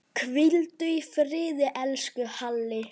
Hvíldu í friði, elsku Halli.